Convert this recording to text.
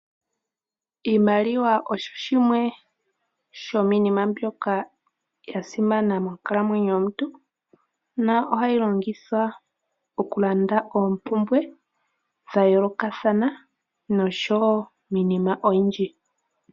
Iimaliwa osho shimwe shomiinima mbyoka ya simana monkalamwenyo yomuntu nohayi longithwa okulanda oompumbwe dha yoolokathana noshowo iinima oyindji.